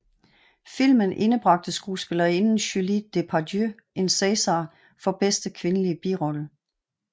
Filmen indbragte skuespillerinden Julie Depardieu en César for bedste kvindelige birolle